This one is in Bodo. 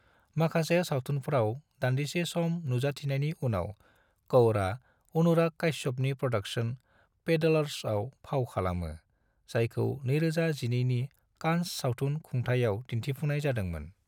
माखासे सावथुनफ्राव दान्दिसे सम नुजाथिनायनि उनाव, कौरआ अनुराग काश्यपनि प्र'डाक्शन पेडलर्स आव फाव खालामो, जायखौ 2012 नि कान्स सावथुन खुंथाइयाव दिन्थिफुंनाय जादोंमोन।